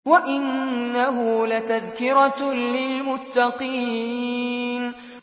وَإِنَّهُ لَتَذْكِرَةٌ لِّلْمُتَّقِينَ